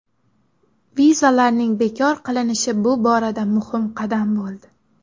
Vizalarning bekor qilinishi bu borada muhim qadam bo‘ldi.